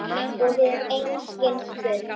Og hefur einskis spurt.